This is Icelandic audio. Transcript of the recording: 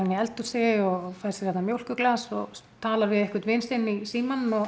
í eldhúsi og fær sér hérna mjólkurglas og talar við einhvern vin sinn í símann og